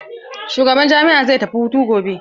Shugaban jami'a zai tafi hutu gobe.